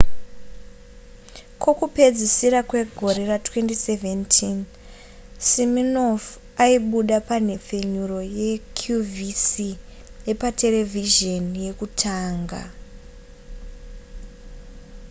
kokupedzisira kwegore ra2017 siminoff aibuda panhepfenyuro yeqvc yepa terevhizheni yekutenga